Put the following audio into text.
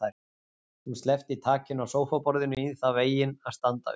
Hún sleppti takinu á sófaborðinu í þann veginn að standa upp.